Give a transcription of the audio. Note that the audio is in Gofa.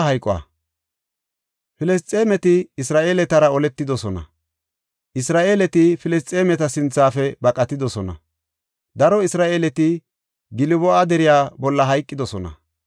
Filisxeemeti Isra7eeletara oletidosona; Isra7eeleti Filisxeemeta sinthafe baqatidosona; daro Isra7eeleti Gilbo7a deriya bolla hayqidosona.